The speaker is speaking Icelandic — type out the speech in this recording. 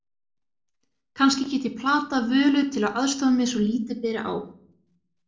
Kannski get ég platað Völu til að aðstoða mig svo lítið beri á.